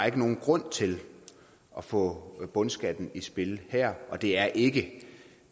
ikke nogen grund til at få bundskatten i spil her og det er ikke